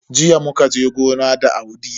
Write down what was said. Jiya muka je gona da Audi.